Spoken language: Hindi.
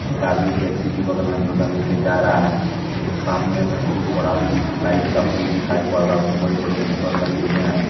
एक आदमी टैक्सी के बगल में झोला लेके जा रहा है एक सामने में बहुत बड़ा लाइट का पोल दिखाई पड़ रहा है उसमें बड़े बड़े भेपर लगे हुए हैं।